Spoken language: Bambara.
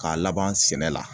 K'a laban sɛnɛ la